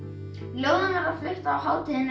ljóðin verða flutt á hátíðinni